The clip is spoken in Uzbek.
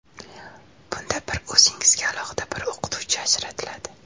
Bunda bir o‘zingizga alohida bir o‘qituvchi ajratiladi.